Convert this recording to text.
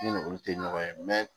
Ne ni olu tɛ ɲɔgɔn ye